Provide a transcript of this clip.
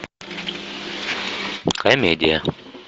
комедия